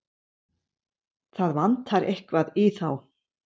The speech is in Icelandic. Það vantar eitthvað í þá.